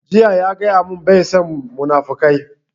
Jiya ya gaya mun bai son munafukai